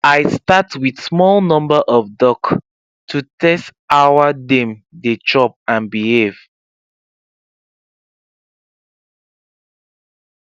i start with small number of duck to test our dem dey chop and behave